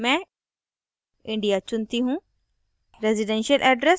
nationality में मैं india चुनती choose